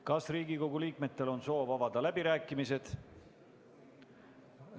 Kas Riigikogu liikmetel on soov avada läbirääkimised?